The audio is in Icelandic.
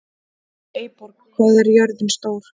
Eyborg, hvað er jörðin stór?